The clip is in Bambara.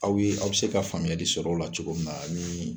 Aw ye , aw be se ka faamuyali sɔrɔ o la cogo min na ani